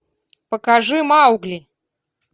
покажи маугли